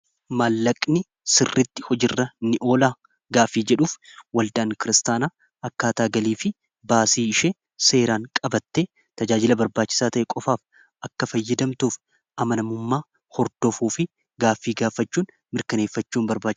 Maallaqni sirritti hojiirra ni oolaa gaafii jedhuuf waldaan kiristaanaa akkaataagalii fi baasii ishee seeraan qabatte tajaajila barbaachisaa ta'e qofaaf akka fayyadamtuuf amanamummaa hordofuu fi gaafii gaafachuun mirkaneeffachuu ni barbaachisa.